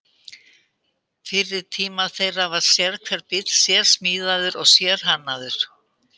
Fyrir tíma þeirra var sérhver bíll sérsmíðaður og sérhannaður.